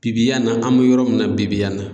Bibi yan in na an be yɔrɔ min na bibi yan in na